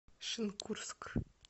шенкурск